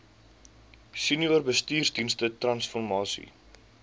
senior bestuursdienste transformasie